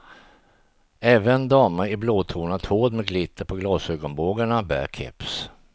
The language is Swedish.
Även damer i blåtonat hår med glitter på glasögonbågarna bär keps.